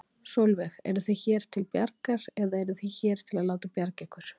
Sólveig: Eruð þið hér til bjargar, eða eruð þið hér til að láta bjarga ykkur?